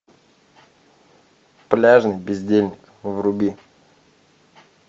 пляжный бездельник вруби